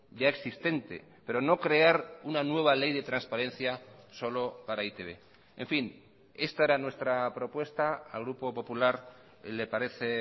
ya existente pero no crear una nueva ley de transparencia solo para e i te be en fin esta era nuestra propuesta al grupo popular le parece